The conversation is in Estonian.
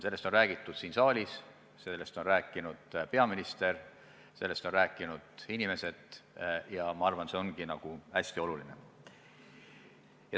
Sellest on räägitud siin saalis, sellest on rääkinud peaminister, sellest on rääkinud muud inimesed ja ma arvan, see ongi hästi oluline.